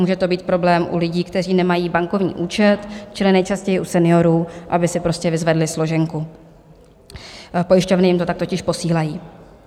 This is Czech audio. Může to být problém u lidí, kteří nemají bankovní účet, čili nejčastěji u seniorů, aby si prostě vyzvedli složenku, pojišťovny jim to tak totiž posílají.